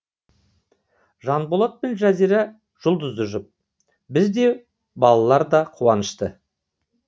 жанболат пен жазира жұлдызды жұп біз де балалар да қуанышты